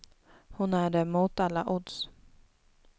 Hon är det mot alla odds.